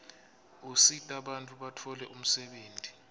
usita bantfu batfole umsebenti